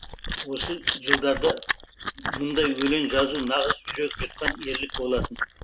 ол жылдарда мұндай өлең жазу нағыз жүрек жұтқан ерлік болатын